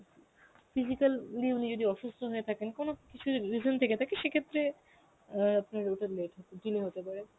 physical উনি উনি যদি অসুস্থ হয়ে থাকেন কোন কিছু জো~ reason থেকে থাকে সে ক্ষেত্রে অ্যাঁ আপনার ওটা late হতে delay হতে পারে.